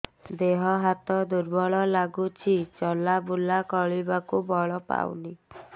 ଦେହ ହାତ ଦୁର୍ବଳ ଲାଗୁଛି ଚଲାବୁଲା କରିବାକୁ ବଳ ପାଉନି